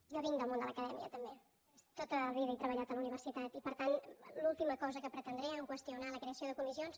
jo vinc del món de l’acadèmia també tota la vida he treballat a la universitat i per tant l’última cosa que pretendré en qüestionar la creació de comissions